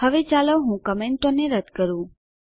હવે ચાલો હું કમેન્ટોને રદ્દ કરું